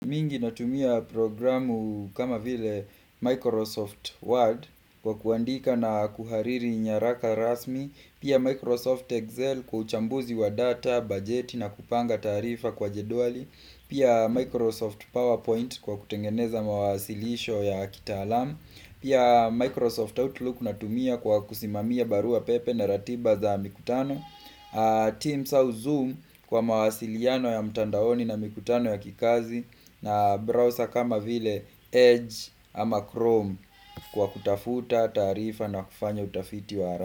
Mingi natumia programu kama vile Microsoft Word kwa kwandika na kuhariri nyaraka rasmi Pia Microsoft Excel kwa uchambuzi wa data, bajeti na kupanga tarifa kwa jeduali Pia Microsoft PowerPoint kwa kutengeneza mawasilisho ya kitaalam Microsoft Word kwa kwandika na kuhariri nyaraka rasmi Pia Microsoft Excel kwa uchambuzi wa data, budget na kupanga tarifa kwa jeduali Pia Microsoft PowerPoint kwa kutengeneza mawasilisho ya kitaalam team South Zoom kwa mawasiliano ya mtandaoni na mikutano ya kikazi na browser kama vile Edge ama Chrome kwa kutafuta taarifa na kufanya utafiti wa hara.